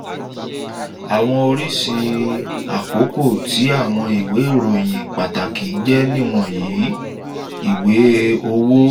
àwọn oríṣi àkókó ti àwọn ìwé ìròyìn pàtàkì jé ni wọnyi: (i) ìwé owó: